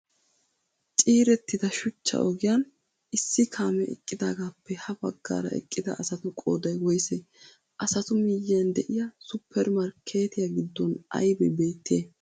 Ciirettida shuchchaa ogiyan issi kaamee eqqiidagaappe ha baggaara eqqidaa asatu qooday woysee? Asatu miyiyan de'iya super markkeetiya giddon aybee beettiyay?